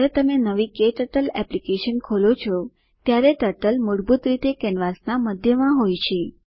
જયારે તમે નવી ક્ટર્ટલ એપ્લિકેશન ખોલો છો ત્યારે ટર્ટલ મૂળભૂત રીતે કેનવાસના મધ્યમાં હોય છે